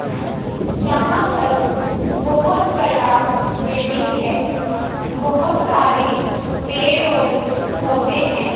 यहां पर बहोत बड़ा बिल्डिंग है बहोत सारे पेड़ और पौधे हैं।